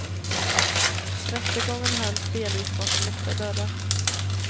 Rättegången hölls delvis bakom lyckta dörrar.